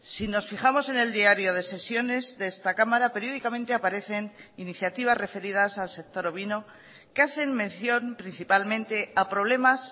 si nos fijamos en el diario de sesiones de esta cámara periódicamente aparecen iniciativas referidas al sector ovino que hacen mención principalmente a problemas